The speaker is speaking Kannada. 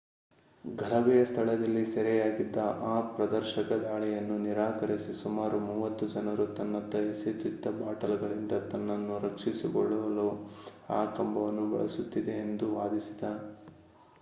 ಗಲಭೆಯ ಸ್ಥಳದಲ್ಲಿ ಸೆರೆಯಾಗಿದ್ದ ಆ ಪ್ರದರ್ಶಕ ದಾಳಿಯನ್ನು ನಿರಾಕರಿಸಿ ಸುಮಾರು ಮೂವತ್ತು ಜನರು ತನ್ನತ್ತ ಎಸೆಯುತಿದ್ದ ಬಾಟಲ್‌ಗಳಿಂದ ತನ್ನನ್ನು ರಕ್ಷಿಸಿಕೊಳ್ಳಲು ಆ ಕಂಬವನ್ನು ಬಳಸುತ್ತಿದ್ದೆ ಎಂದು ವಾದಿಸಿದ